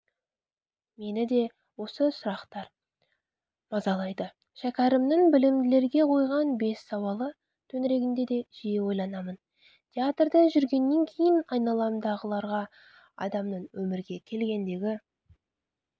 мені де осы сұрақтар мазалайды шәкәрімнің білімділерге қойған бес сауалы төңірегінде де жиі ойланамын театрда жүргеннен кейін айналамдағыдарға адамның өмірге келгендегі